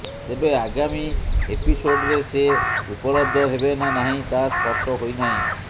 ତେବେ ଆଗାମୀ ଏପିସୋଡରେ ସେ ଉପଲବ୍ଧ ହେବେ ନା ନାହିଁ ତାହା ସ୍ପଷ୍ଟ ହୋଇନାହିଁ